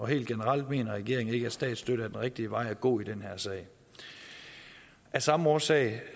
helt generelt mener regeringen ikke at statsstøtte er den rigtige vej at gå i den her sag af samme årsag